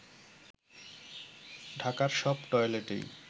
ঢাকার সব টয়লেটই